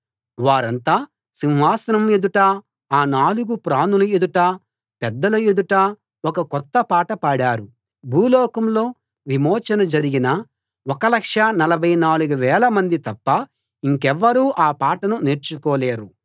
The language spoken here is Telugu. వారంతా సింహాసనం ఎదుటా ఆ నాలుగు ప్రాణుల ఎదుటా పెద్దల ఎదుటా ఒక కొత్త పాట పాడారు భూలోకంలో విమోచన జరిగిన 1 44000 మంది తప్ప ఇంకెవ్వరూ ఆ పాటను నేర్చుకోలేరు